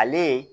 Ale